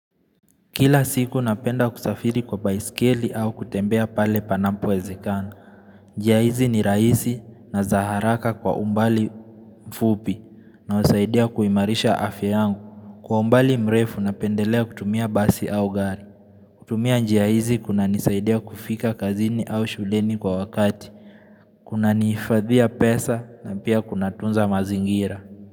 Kila siku napenda kusafiri kwa baiskeli au kutembea pale panampu wezekana. Njia izi ni raisi na za haraka kwa umbali mfupi na usaidia kuimarisha afya yangu. Kwa umbali mrefu napendelea kutumia basi au gari. Kutumia njia izi kuna nisaidia kufika kazini au shuleni kwa wakati. Kuna nifadhiya pesa na pia kuna tunza mazingira.